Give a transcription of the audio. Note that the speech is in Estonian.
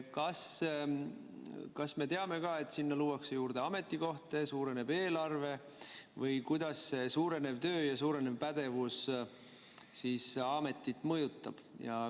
Kas me teame ka, et sinna luuakse juurde ametikohti, suureneb eelarve või kuidas suurenev töökoormus ja suurenev pädevus siis ametit mõjutab?